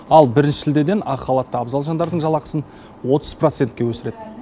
ал бірінші шілдеден ақ халатты абзал жандардың жалақысын отыз процентке өсіреді